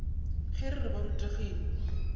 ge re re ba rutegile